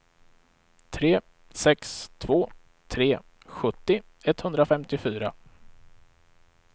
tre sex två tre sjuttio etthundrafemtiofyra